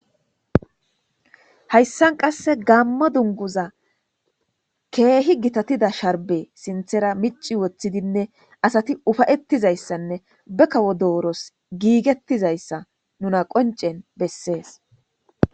Hayssan qasse gamma dunguza keehi gitatida sharbe sinthera mici woththidinne asati ufayettizayssanne bekawo dooros giigettizayssa nuna qoncen bessees